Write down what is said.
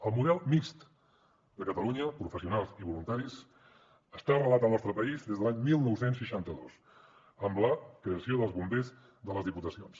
el model mixt de catalunya professionals i voluntaris està arrelat al nostre país des de l’any dinou seixanta dos amb la creació dels bombers de les diputacions